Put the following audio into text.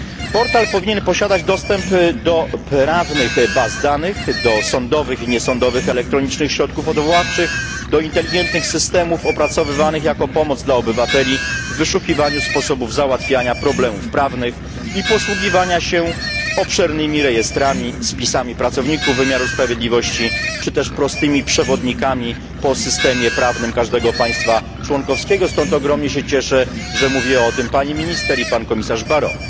Portal powinien posiadać dostęp do prawnych baz danych, do sądowych i niesądowych elektronicznych środków odwoławczych, do inteligentnych systemów opracowywanych jako pomoc dla obywateli w wyszukiwaniu sposobów załatwiania problemów prawnych i posługiwania się obszernymi rejestrami, spisami pracowników wymiaru sprawiedliwości czy też prostymi przewodnikami po systemie prawnym każdego państwa członkowskiego, stąd ogromnie się cieszę, że mówiła o tym pani minister i pan komisarz Barrot.